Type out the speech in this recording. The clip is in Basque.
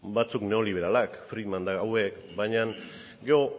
batzuk neoliberalak friedman eta hauek baina